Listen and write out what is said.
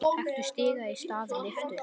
Taktu stiga í stað lyftu.